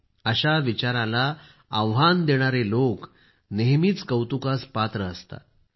ज्यांना या विचाराला आव्हान देणारी लोकं नेहमीचे कौतुकास पात्र असतात